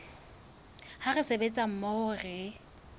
ha re sebetsa mmoho re